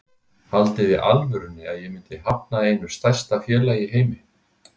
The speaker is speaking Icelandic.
Haldiði í alvörunni að ég myndi hafna einu stærsta félagi í heimi?